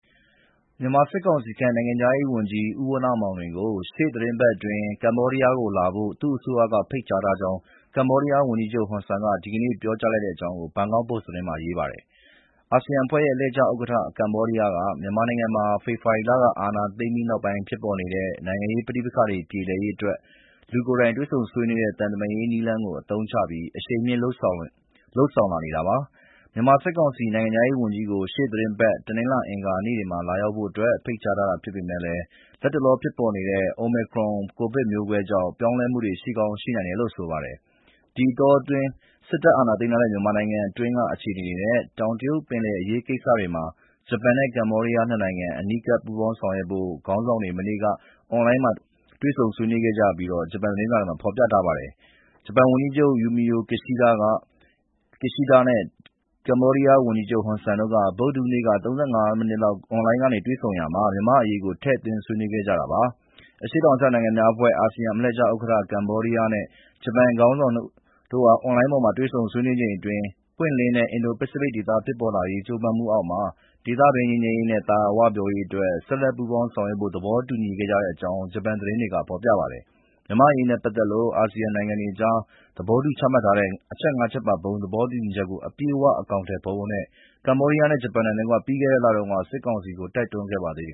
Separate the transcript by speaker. Speaker 1: မြန်မာစစ်ကောင်စီခန့် နိုင်ငံခြားရေးဝန်ကြီး ဦးဝဏ္ဏမောင်လွင်ကို ရှေ့သီတင်းပတ်အတွင်း ကမ္ဘောဒီးယားလာဖို့ သူ့အစိုးရက ဖိတ်ကြားထားတယ်လို့ ကမ္ဘောဒီးယားဝန်ကြီးချုပ် Hun Sen က ဒီကနေ့ ပြောတဲ့အကြောင်း Bangkok Post သတင်းမှာ ရေးထားပါတယ်။ အာဆီယံအလှည့်ကျဥက္ကဋ္ဌ ကမ္ဘောဒီးယားက မြန်မာနိုင်ငံမှာ ဖေဖော်ဝါရီလ အာဏာသိမ်းပြီး နောက် ပိုင်း ဖြစ်ပေါ်နေတဲ့ နိုင်ငံရေးပဋိပက္ခတွေ ပြေလည်ရေးအတွက် လူကိုယ်တိုင် တွေ့ဆုံဆွေးနွေးတဲ့ သံတမန်ရေးနည်းလမ်းကို အသုံးချပြီး အရှိန်မြှင့် လုပ်ဆောင်လာနေတာပါ။ စစ်ကောင်စီ နိုင်ငံခြားရေးဝန်ကြီးကို ရှေ့သီတင်းပတ် တနင်္လာနဲ့အင်္ဂါနေ့တွေမှာ လာရောက်ဖို့ ဖိတ်ကြား ထားတာဖြစ်ပေမယ့် လတ်တလောဖြစ်ပေါ်နေတဲ့ Omicron ကိုဗစ် မျိုးကွဲသစ်ကြောင့် ပြောင်းလဲမှုတွေ ရှိကောင်းရှိနိုင်တယ်လို့ ဆိုပါတယ်။ ဒီအတောအတွင်း မြန်မာနိုင်ငံတွင်းက အခြေအနေတွေနဲ့ တောင်တရုတ်ပင်လယ် အရေးကိစ္စတွေမှာ ဂျပန်နဲ့ ကမ္ဘောဒီးယား နှစ်နိုင်ငံ အနီးကပ်ပူးပေါင်းဆောင်ရွက်ဖို့ နှစ်နိုင်ငံခေါင်းဆောင်တွေ မနေ့က အွန်လိုင်းမှာ ဆွေးနွေးချိန်အတွင်း သဘောတူညီခဲ့ကြတဲ့အကြောင်း ဒီကနေ့ ဂျပန်သတင်းတွေမှာ ဖော်ပြထားပါတယ်။ ဂျပန်ဝန်ကြီးချုပ် Fumio Kishida နဲ့ ကမ္ဘောဒီးယား ဝန်ကြီးချုပ် Hun Sen တို့ ဗုဒ္ဓဟူးနေ့က ၃၅ မိနစ် လောက် အွန်လိုင်းကနေ တွေ့ဆုံ ပြောဆိုကြချိန် မြန်မာ့အရေးကို ထည့်သွင်း ဆွေးနွေးခဲ့ကြတာပါ။ အရှေ့တောင်အာရှနိုင်ငံများအဖွဲ့ (ASEAN) အလှည့်ကျဥက္ကဋ္ဌ ကမ္ဘောဒီးယားနဲ့ ဂျပန် ခေါင်းဆောင် နှစ်ဦး အွန်လိုင်းပေါ် တွေ့ဆုံဆွေးနွေးချိန်အတွင်း လွတ်လပ်ပွင့်လင်းတဲ့ အင်ဒို-ပစိဖိတ်ဒေသ ဖြစ်လာ ရေး ကြိုးပမ်းမှုတွေအောက်မှာ ဒေသတွင်း ငြိမ်းချမ်းရေးနဲ့ သာယာဝပြောရေးအတွက် ဆက်လက် ပူးပေါင်းဆောင်ရွက်ဖို့ သဘောတူခဲ့ကြတဲ့အကြောင်း ဂျပန်သတင်းတွေက ဖော်ပြပါတယ်။ မြန်မာ့အရေးနဲ့ပတ်သက်လို့ အာဆီယံနိုင်ငံတွေကြား သဘောတူ ချမှတ်ထားတဲ့ အချက် ၅ ချက်ပါ ဘုံသဘောတူညီချက်ကို အပြည့်အဝ အကောင်အထည်ဖော်ဖို့ ကမ္ဘောဒီးယားနဲ့ ဂျပန်နိုင်ငံတွေက ပြီးခဲ့တဲ့လတုန်းကလည်း စစ်ကောင်စီကို တိုက်တွန်းခဲ့ပါသေးတယ်